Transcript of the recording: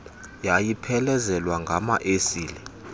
eyayiphelezelwa ngama esile